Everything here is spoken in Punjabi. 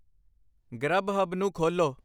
ਗਰੱਬਹੱਬ ਨੂੰ ਖੋਲੋ